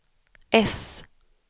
äss